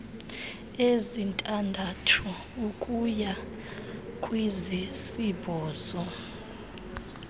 ezintandathu ukuya kwezisibhozo